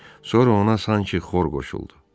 Sonra ona sanki xor qoşuldu.